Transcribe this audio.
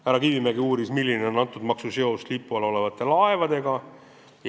Härra Kivimägi uuris, milline on selle maksu seos sellega, mis lipu all laevad on.